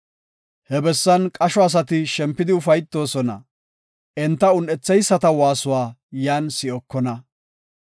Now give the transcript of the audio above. He bessan qasho asati shempidi ufaytoosona; enta un7etheyisata waasuwa yan si7okona.